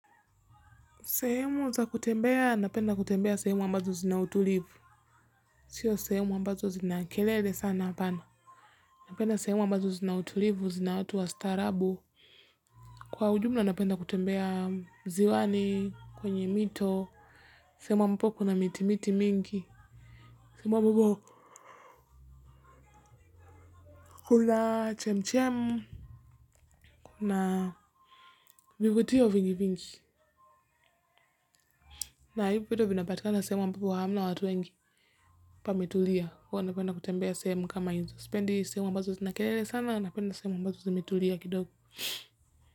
Sehemu za kutembea napenda kutembea sehemu ambazo kuma utulivu. Sio sehemu ambazo zina kelele sana apana. Napenda sehemu ambazo zina utulivu zina watu wa starabu. Kwa ujumla napenda kutembea ziwani kwenye mito. Sehemu ambapo kuna miti miti mingi. Kama ambapo kuma chem chem vivutio vingi vingi na hivyo vyote vinapatikana sehemu ambapo hamna watu wengi. Pametulia huwa napenda kutembea sehemu kama hizo. Sipendi sehemu ambazo zina kelele sana napenda sehemu ambazo zimetuli kidogo.